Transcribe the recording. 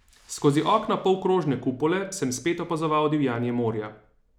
Skozi okna polkrožne kupole sem spet opazoval divjanje morja.